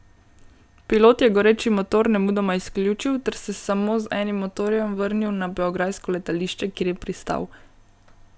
Pilot je goreči motor nemudoma izključil ter se samo z enim motorjem vrnil na beograjsko letališče, kjer je pristal.